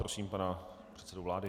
Prosím pana předsedu vlády.